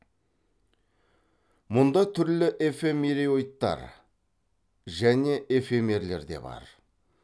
мұнда түрлі эфемероидтар және эфемерлер де бар